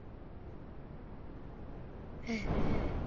Frímann heldur allt annar læknir.